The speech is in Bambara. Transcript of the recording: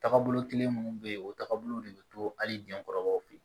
Tagabolo kelen minnu bɛ yen o taabolo de bɛ to hali jɛnkɔrɔbaw fɛ yen